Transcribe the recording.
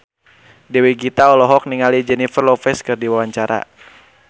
Dewi Gita olohok ningali Jennifer Lopez keur diwawancara